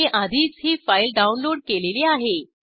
मी आधीच ही file download केलेली आहे